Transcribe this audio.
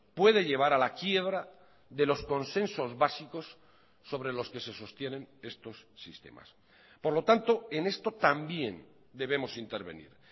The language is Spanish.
puede llevar a la quiebra de los consensos básicos sobre los que se sostienen estos sistemas por lo tanto en esto también debemos intervenir